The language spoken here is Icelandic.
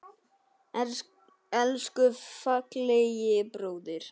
Elsku fallegi bróðir.